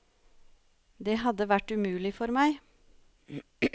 Det hadde vært umulig for meg.